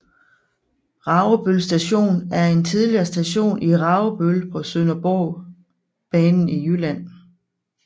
Ragebøl Station er en tidligere station i Ragebøl på Sønderborgbanen i Jylland